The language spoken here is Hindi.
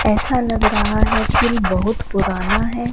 ऐसा लग रहा है पुल बहुत पुराना है।